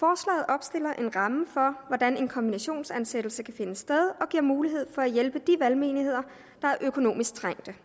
opstiller en ramme for hvordan en kombinationsansættelse kan finde sted og giver mulighed for at hjælpe de valgmenigheder der er økonomisk trængte